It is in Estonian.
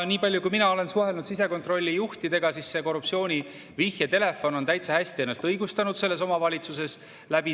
Nii palju kui mina olen suhelnud sisekontrolli juhtidega, see korruptsiooni vihjetelefon on täitsa hästi ennast õigustanud selles omavalitsuses.